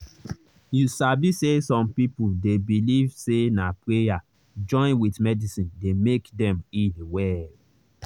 you sabi say some people dey believe say na prayer join with medicine dey make dem heal well.